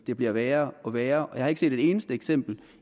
det bliver værre og værre jeg har ikke set et eneste eksempel